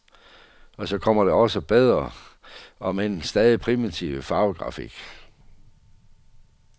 Og så kom der også bedre, omend stadig primitiv farvegrafik.